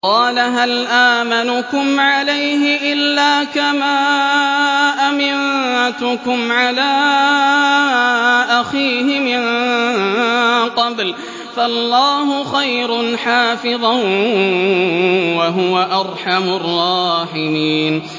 قَالَ هَلْ آمَنُكُمْ عَلَيْهِ إِلَّا كَمَا أَمِنتُكُمْ عَلَىٰ أَخِيهِ مِن قَبْلُ ۖ فَاللَّهُ خَيْرٌ حَافِظًا ۖ وَهُوَ أَرْحَمُ الرَّاحِمِينَ